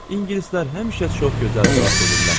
İngilislər həmişə çox gözəl cavab verirlər.